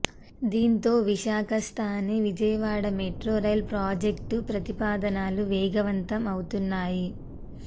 దీంతో విశాఖ స్థానే Vijayawada metro rail project ప్రతిపాదనలు వేగవంతం అవుతున్నాయి